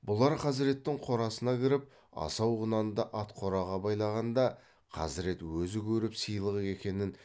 бұлар хазіреттің қорасына кіріп асау құнанды ат қораға байлағанда хазірет өзі көріп сыйлық екенін